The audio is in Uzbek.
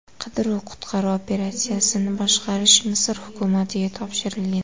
Qidiruv-qutqaruv operatsiyasini boshqarish Misr hukumatiga topshirilgan.